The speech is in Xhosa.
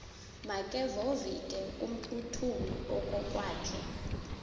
makevovike kumphuthumi okokwakhe